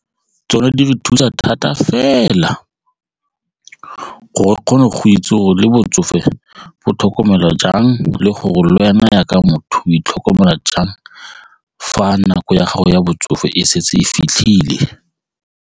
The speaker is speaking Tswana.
Tsone di re thusa thata fela gore o kgone go itse go le botsofe bo tlhokomelwa jang le gore le wena jaaka motho itlhokomela jang fa nako ya gago ya botsofe e setse e fitlhile.